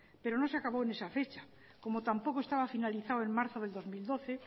pero no se acabo en ese fecha como tampoco estaba finalizado en marzo del dos mil doce